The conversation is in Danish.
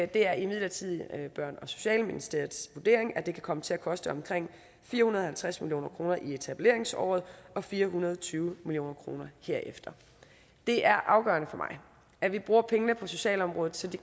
det er imidlertid børne og socialministeriets vurdering at det kan komme til at koste omkring fire hundrede og halvtreds million kroner i etableringsåret og fire hundrede og tyve million kroner herefter det er afgørende for mig at vi bruger pengene på socialområdet så det